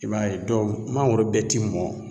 I b'a ye dɔw mangoro bɛ ti mɔn